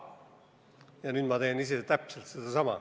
Ja nüüd ma teen ise just seda.